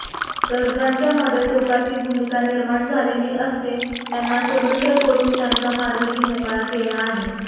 तर ज्यांच्यामध्ये टोकाची भूमिका निर्माण झालेली असते त्यांना स्वतंत्र करुन त्यांचा मार्गही मोकळा केला आहे